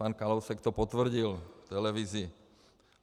Pan Kalousek to potvrdil v televizi.